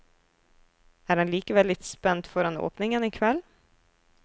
Er han likevel litt spent foran åpningen i kveld?